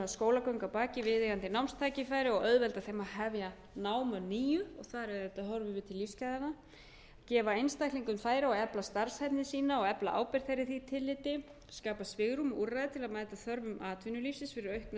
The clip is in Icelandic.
skólagöngu að baki viðeigandi námstækifæri og auðvelda þeim að hefja nám að nýju og þar auðvitað horfum við til lífsgæðanna c að gefa einstaklingum færi á að efla starfshæfni sína og efla ábyrgð þeirra í því tilliti skapa svigrúm og úrræði til að mæta þörfum atvinnulífsins fyrir aukna þekkingu